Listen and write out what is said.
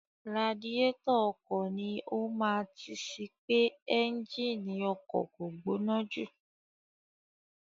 Radiátọ̀ ọkọ̀ ni ó máa tí sì pé ẹ́ńgínì ọkọ̀ kò gbóná jù.